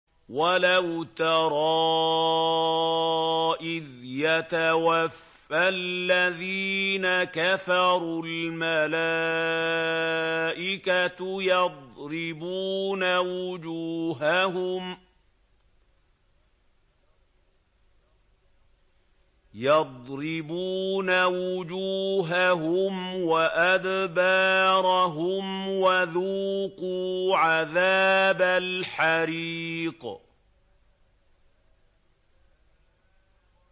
وَلَوْ تَرَىٰ إِذْ يَتَوَفَّى الَّذِينَ كَفَرُوا ۙ الْمَلَائِكَةُ يَضْرِبُونَ وُجُوهَهُمْ وَأَدْبَارَهُمْ وَذُوقُوا عَذَابَ الْحَرِيقِ